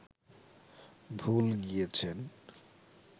ভুল গিয়েছেন